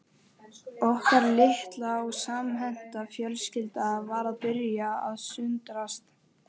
Okkar litla og samhenta fjölskylda var að byrja að sundrast